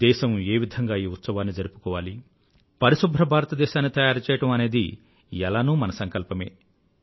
దేశం ఏ విధంగా ఈ ఉత్సవాన్ని జరుపుకోవాలి పరిశుభ్ర భారతదేశాన్ని తయారుచెయ్యడం అనేది ఎలానూ మన సంకల్పమే